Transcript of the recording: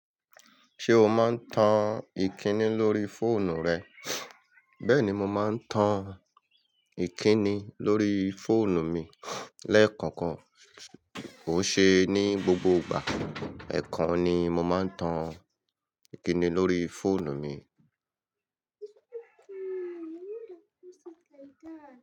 Ṣé o máa ń tan ìkíni lórí fóònù rẹ? Bẹ́ẹ̀ ni, mo máa ń tan ìkíni lórí fóònù mi lẹ́ẹ̀kankan. Kò ṣe ni gbogbo ìgbà, ẹ̀ẹ̀kan ni mo máa ń tan ìkíni lórí fóònù mi.